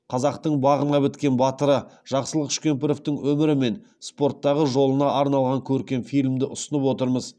қазақтың бағына біткен батыры жақсылық үшкемпіровтың өмірі мен спорттағы жолына арналған көркем фильмді ұсынып отырмыз